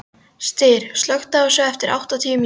Styr, slökktu á þessu eftir áttatíu mínútur.